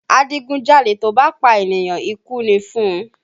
Adigunjalè tó bá pa ènìyàn, ikú ni fún un